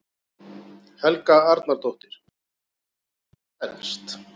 Helga Arnardóttir: Hvað er það þá helst?